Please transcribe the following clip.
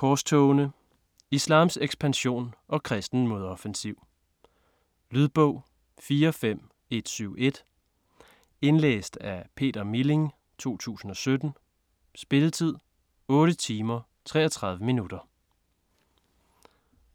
Korstogene: islams ekspansion og kristen modoffensiv Lydbog 45171 Indlæst af Peter Milling, 2017. Spilletid: 8 timer, 33 minutter.